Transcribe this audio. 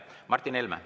Martin Helme.